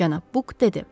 Cənab Buk dedi.